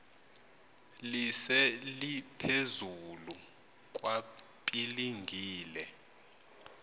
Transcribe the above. lise liphezulu kwapilingile